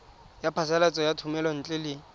ya phasalatso ya thomelontle le